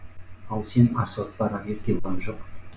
ал сен асығып барар еркебұлан жоқ